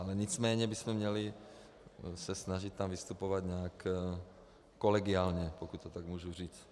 Ale nicméně bychom se měli snažit tam vystupovat nějak kolegiálně, pokud to tak můžu říct.